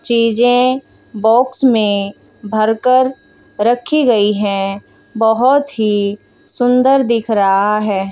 चीजे बॉक्स में भरकर रखी गई है बहोत ही सुंदर दिख रहा है।